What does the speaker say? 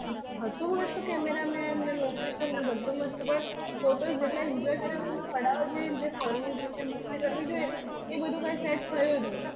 હતું મસ્ત camera persons ને location ને બધુ મસ્ત, પણ photos જેટલા enjoy કરી ને પડાવા જોઈએ ફરવું જોઈએ મસ્તી કરવી જોઈએ એ બધુ કશું set થયું જ નહી.